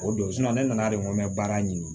O don ne nana de ko n bɛ baara ɲini